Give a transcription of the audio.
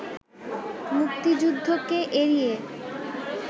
মুক্তিযুদ্ধকে এড়িয়ে